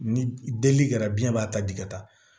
Ni deli kɛra biyɛn b'a ta di ka taa